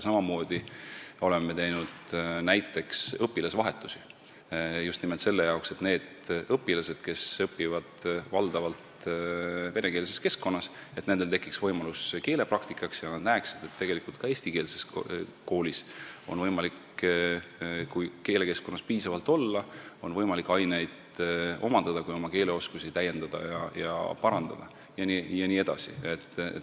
Samamoodi oleme teinud näiteks õpilasvahetusi – just nimelt selleks, et nendel õpilastel, kes õpivad valdavalt venekeelses keskkonnas, tekiks võimalus keelepraktikaks ja nad näeksid, et tegelikult on ka eestikeelses koolis võimalik aineid omandada, kui selles keelekeskkonnas piisavalt olla ning oma keeleoskusi täiendada, parandada jne.